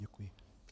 Děkuji.